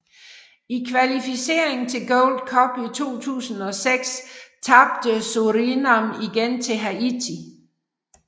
I kvalificeringen til Gold Cup i 2006 tabte Surinam igen til Haiti